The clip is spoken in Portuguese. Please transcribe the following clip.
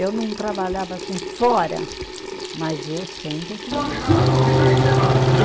Eu não trabalhava assim fora, mas eu sempre fiz minhas coisa para ganhar meu dinheiro.